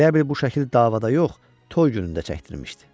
Elə bil bu şəkil davada yox, toy günündə çəkdirmişdi.